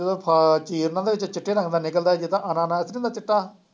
ਜਦੋਂ ਫ਼ਲ ਕੀ ਇਹਨਾ ਦੇ ਵਿੱਚ ਚਿੱਟੇ ਰੰਗ ਦਾ ਨਿਕਲਦਾ ਜਿਦਾਂ ਅਨਾਨਾਸ ਨਹੀਂ ਹੁੰਦਾ ਚਿੱਟਾ